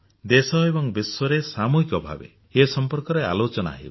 ଦେଶ ଏବଂ ବିଶ୍ୱରେ ସାମୂହିକ ଭାବେ ଏ ସମ୍ପର୍କରେ ଆଲୋଚନା ହେଉଛି